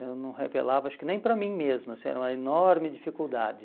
Eu não revelava, acho que nem para mim mesmo, assim era uma enorme dificuldade.